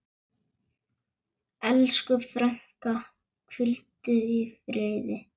Elsku frænka, hvíldu í friði.